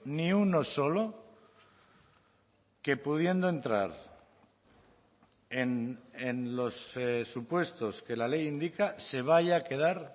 ni uno solo que pudiendo entrar en los supuestos que la ley indica se vaya a quedar